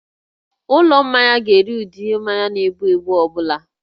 Ụlọ mmanya ga-ere ụdị ihe mmanya na-egbu egbu ọ bụla